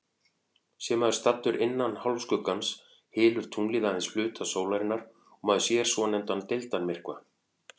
Sé maður staddur innan hálfskuggans, hylur tunglið aðeins hluta sólarinnar og maður sér svonefndan deildarmyrkva.